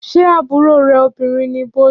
Ṣé àbúrò rè obìnrin ni Bọ́lú?